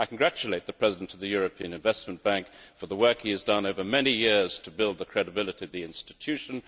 I congratulate the President of the European Investment Bank on the work he has done over many years to build the credibility of that institution.